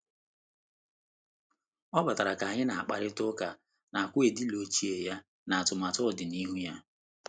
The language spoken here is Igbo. Ọ batara ka anyị na-akparịta ụka na akwu edilo ochie ya na atụmatụ ọdịnihu ya.